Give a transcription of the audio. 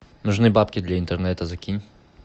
нужны бабки для интернета закинь